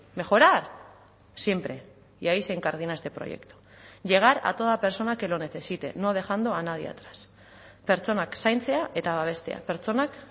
mejorar siempre y ahí se incardina este proyecto llegar a toda persona que lo necesite no dejando a nadie atrás pertsonak zaintzea eta babestea pertsonak